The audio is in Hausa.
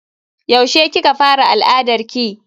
Yaushe kika fara al'adarki?